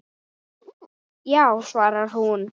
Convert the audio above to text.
Já, svarar hún.